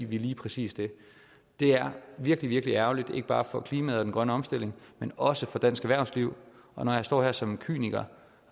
vi lige præcis det det er virkelig virkelig ærgerligt ikke bare for klimaet og den grønne omstilling men også for dansk erhvervsliv og når jeg står her som kyniker